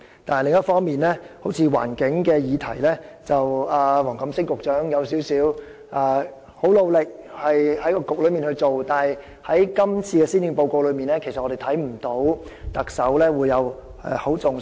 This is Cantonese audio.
但是，另一方面，在例如有關環境的議題上，縱使黃錦星局長相當努力，但在今年的施政報告中卻看不到特首有加以重視。